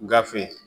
Gafe